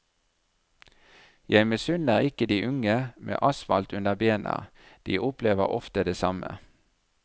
Jeg misunner ikke de unge med asfalt under bena, de opplever ofte det samme.